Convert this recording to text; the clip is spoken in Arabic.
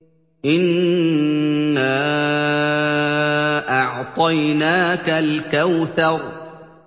إِنَّا أَعْطَيْنَاكَ الْكَوْثَرَ